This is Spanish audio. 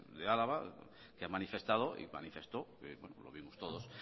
de álava que han manifestado y manifestó lo vimos todos